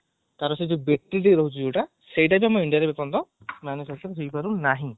ତାର ସେଇ ଯୋଉ battery ଯୋଉ ରହୁଛି ଯୋଉଟା ସିଏ ଆମର indiaରେ ଏପର୍ଯ୍ୟନ୍ତ manufacture ହେଇପାରୁ ନାହିଁ